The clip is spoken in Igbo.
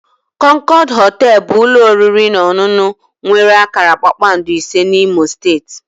Concord họtel bụ ụlọ oriri na ọṅụṅụ nwere akara kpakpando ise na imo steeti